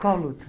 Qual luta?